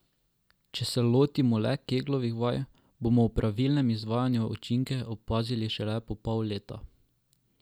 Če se lotimo le keglovih vaj, bomo ob pravilnem izvajanju učinke opazili šele po pol leta.